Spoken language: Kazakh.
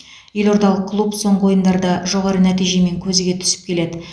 елордалық клуб соңғы ойындарда жоғары нәтижемен көзге түсіп келеді